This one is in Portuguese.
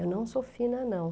Eu não sou fina, não.